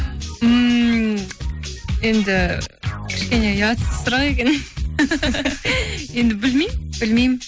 ммм енді кішкене ұятсыз сұрақ екен енді білмеймін білмеймін